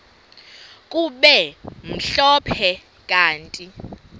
kube mhlophe kanti